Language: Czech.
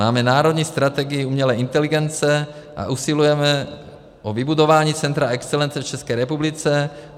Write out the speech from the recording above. Máme národní strategii umělé inteligence a usilujeme o vybudování centra excelence v České republice.